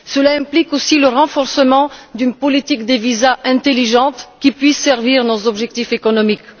Cela implique aussi le renforcement d'une politique des visas intelligente, qui puisse servir nos objectifs économiques.